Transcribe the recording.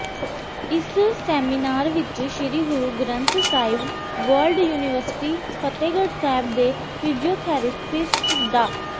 ਇਸ ਸੈਮੀਨਾਰ ਵਿੱਚ Shri Guru Granth Sahib world university Fatehgarh Sahib ਦੇ ਫਿਜੀਓਥੈਰੇਪਿਸਟ ਡਾ